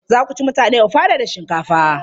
Za ku ci mutane ofada da shinkafa?